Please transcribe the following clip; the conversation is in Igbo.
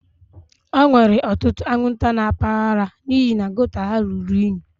E nwere ọtụtụ anwụnta na mpaghara a n'ihi gota ha ruru unyi